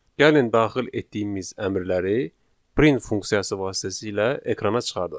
Gəlin daxil etdiyimiz əmrləri print funksiyası vasitəsilə ekrana çıxardaq.